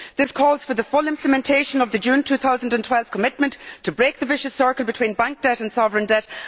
There is a call here for the full implementation of the June2012 commitment to break the vicious circle between bank debt and sovereign debt.